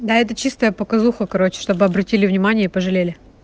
да это чистая показуха короче чтобы обратили внимание и пожалели